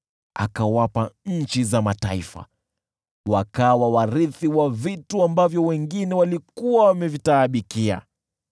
akawapa nchi za mataifa, wakawa warithi wa mali wengine walikuwa wameitaabikia: